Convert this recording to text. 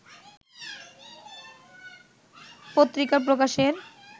পত্রিকা প্রকাশের